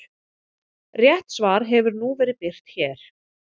Rétt svar hefur nú verið birt hér.